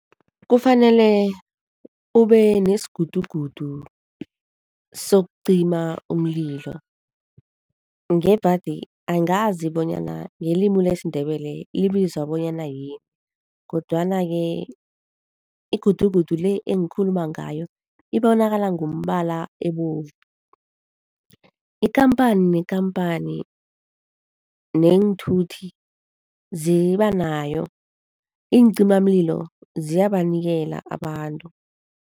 Kufanele ube nesigudugudu sokucima umlilo ngebhadi angazi bonyana ngelimu lesiNdebele libizwa bonyana yini kodwana-ke igudugudu le engikhuluma ngayo ibonakala ngombala ebovu. Ikhamphani nekhamphani neenthuthi ziba nayo, iincimamlilo ziyabanikela abantu.